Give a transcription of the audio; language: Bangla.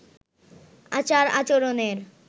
আচার আচরণের